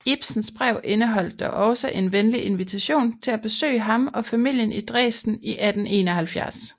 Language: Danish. Ibsens brev indeholdt dog også en venlig invitation til at besøge ham og familien i Dresden i 1871